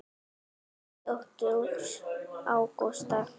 Þín dóttir, Ágústa.